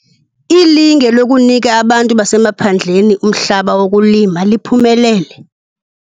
Ilinge lokunika abantu basemaphandleni umhlaba wokulima, liphumelele.